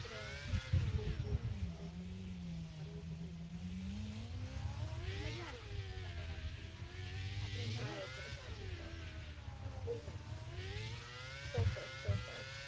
હોવું જીવનમાં કેટલું જરૂરી છે. ફરવું કેટલું જરૂરી છે. પણ મજા આવતી આપડે મળીયે ચોક્કસ પછી ક્યારેક ચોક્કસ ચોક્કસ.